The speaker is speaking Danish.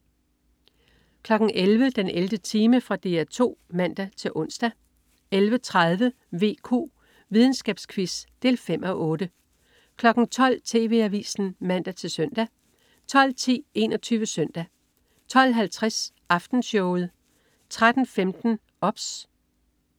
11.00 den 11. time. Fra DR 2 (man-ons) 11.30 VQ. Videnskabsquiz. 5:8 12.00 TV Avisen (man-søn) 12.10 21 Søndag 12.50 Aftenshowet 13.15 OBS